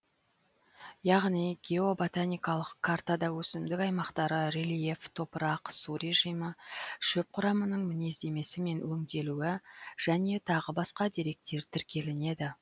яғни геоботаникалық картада өсімдік аймақтары рельеф топырақ су режимі шөп құрамының мінездемесі мен өнделуі және тағы басқа деректер тіркелінеді